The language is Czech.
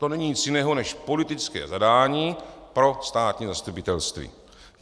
To není nic jiného než politické zadání pro státní zastupitelství.